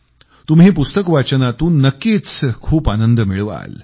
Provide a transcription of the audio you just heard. तुम्ही पुस्तक वाचनातून नक्कीच खूप आनंद मिळवाल